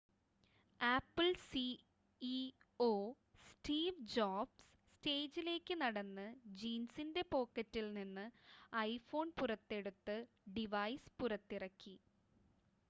apple CEO Steve Jobs സ്റ്റേജിലേക്ക് നടന്ന് ജീൻസിൻ്റെ പോക്കറ്റിൽ നിന്ന് ഐഫോൺ പുറത്തെടുത്ത് ഡിവൈസ് പുറത്തിറക്കി